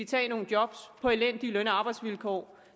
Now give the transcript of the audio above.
tage nogle job på elendige arbejdsvilkår